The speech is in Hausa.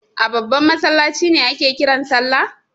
A babban masallaci ne ake kiran salla?